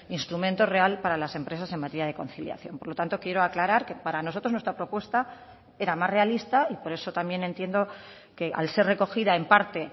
instrumento real para las empresas en materia de conciliación por lo tanto quiero aclarar que para nosotros nuestra propuesta era más realista y por eso también entiendo que al ser recogida en parte